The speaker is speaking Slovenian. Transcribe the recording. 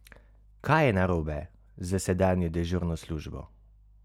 Kaj je narobe s sedanjo dežurno službo?